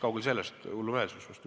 Kaugel sellest, hullumeelsus!